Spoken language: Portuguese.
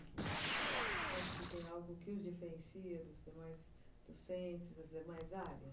Você acha que tem algo que os diferencia dos demais docentes, das demais áreas?